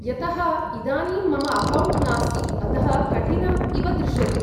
यतः इदानीं मम अकौण्ट् नास्ति, अतः कठिनम् इव दृश्यते।